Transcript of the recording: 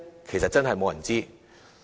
其實真的沒有人知道。